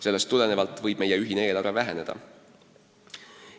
Sellest tulenevalt võib meie ühine eelarve väheneda.